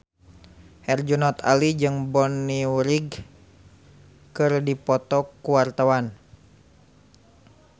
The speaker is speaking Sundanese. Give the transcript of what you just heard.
Herjunot Ali jeung Bonnie Wright keur dipoto ku wartawan